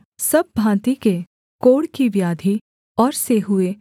सब भाँति के कोढ़ की व्याधि और सेंहुएँ